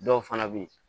Dɔw fana bɛ yen